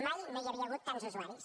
mai no hi havia hagut tants usuaris